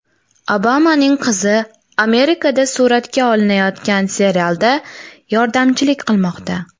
Obamaning qizi Amerikada suratga olinayotgan serialda yordamchilik qilmoqda .